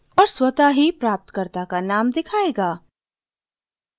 और स्वतः ही प्राप्तकर्ता का नाम दिखायेगा